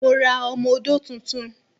Mo ra ọmọ-odó tuntun